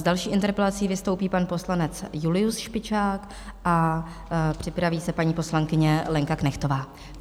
S další interpelací vystoupí pan poslanec Julius Špičák a připraví se paní poslankyně Lenka Knechtová.